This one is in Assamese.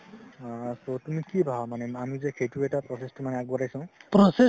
আ ত তুমি কি ভাবা মানে আমি যে সেইটো এটা process তো মানে আগবঢ়াইছো